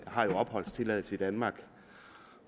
har jo opholdstilladelse i danmark